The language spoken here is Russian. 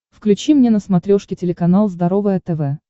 включи мне на смотрешке телеканал здоровое тв